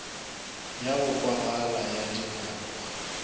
ya go kwagala ya dinyakwa